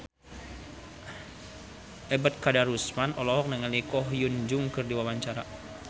Ebet Kadarusman olohok ningali Ko Hyun Jung keur diwawancara